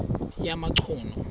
yamachunu